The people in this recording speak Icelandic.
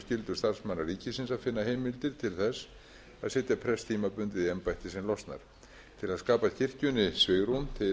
starfsmanna ríkisins að finna heimildir til þess að setja prest tímabundið í embætti sem losnar til að skapa kirkjunni svigrúm til að hagræða í